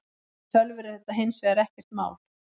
Fyrir tölvur er þetta hins vegar ekkert mál.